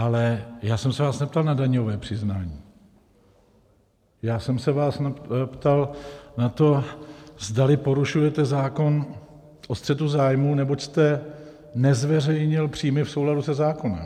Ale já jsem se vás neptal na daňové přiznání, já jsem se vás ptal na to, zdali porušujete zákon o střetu zájmů, neboť jste nezveřejnil příjmy v souladu se zákonem.